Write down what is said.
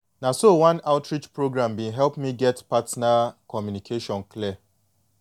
na so one local outreach program been help me get partner communication clear